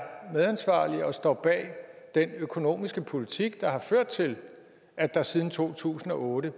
medansvarlig og står bag den økonomiske politik der har ført til at der siden to tusind og otte